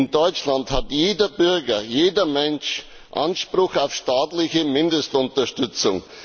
In Deutschland hat jeder Bürger, jeder Mensch Anspruch auf staatliche Mindestunterstützung.